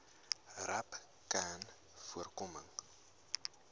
rapcanvoorkoming